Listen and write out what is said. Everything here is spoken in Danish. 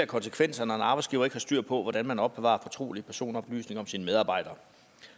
konsekvenser når en arbejdsgiver ikke har styr på hvordan man opbevarer fortrolige personoplysninger om sine medarbejdere